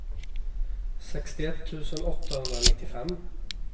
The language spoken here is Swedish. sextioett tusen åttahundranittiofem